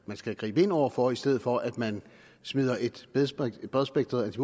skal gribes ind over for i stedet for at man smider et bredspektret